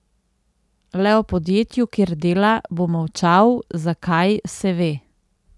Le o podjetju, kjer dela, bo molčal, zakaj, se ve.